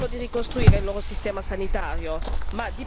attraverso la pianificazione a lungo termine.